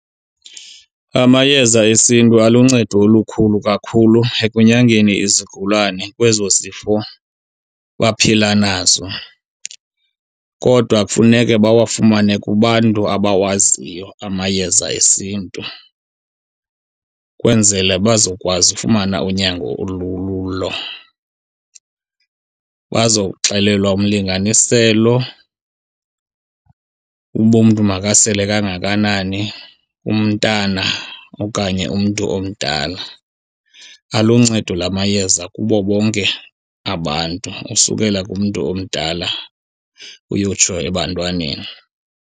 Amayeza esiNtu aluncedo olukhulu kakhulu ekunyangeni izigulane kwezo zifo baphila nazo. Kodwa kufuneke bawafumane kubantu abawaziyo amayeza esiNtu, kwenzele bazokwazi ufumana unyango olululo. Bazoxelelwa umlinganiselo uba umntu makasele kangakanani, umntana okanye umntu omdala. Aluncedo la mayeza kubo bonke abantu, usukela kumntu omdala uyotsho ebantwaneni.